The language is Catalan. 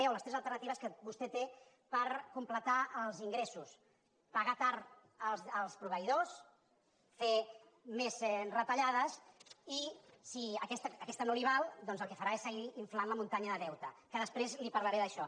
o les tres alternatives que vostè té per completar els ingressos pagar tard els proveïdors fer més retallades i si aquesta no li val doncs el que farà és seguir inflant la muntanya de deute que després li parlaré d’això